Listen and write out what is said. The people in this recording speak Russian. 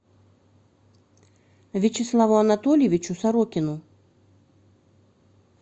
вячеславу анатольевичу сорокину